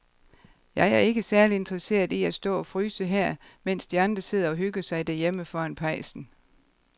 Jeg er ikke særlig interesseret i at stå og fryse her, mens de andre sidder og hygger sig derhjemme foran pejsen.